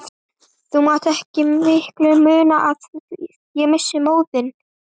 Þá mátti ekki miklu muna að ég missti móðinn.